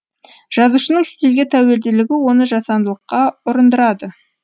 жазушының стильге тәуелділігі оны жасандылыққа ұрындырады